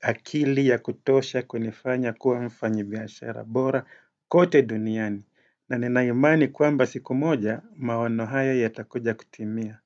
akili ya kutosha kunifanya kuwa mfanyibiashara bora kote duniani na ninaimani kwamba siku moja maono hayo yatakuja kutimia.